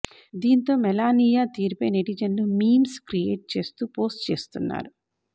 దీంతో మెలానియా తీరుపై నెటిజన్లు మీమ్స్ క్రియోట్ చేస్తూ పోస్ట్ చేస్తున్నారు